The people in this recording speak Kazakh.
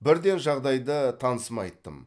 бірден жағдайды танысыма айттым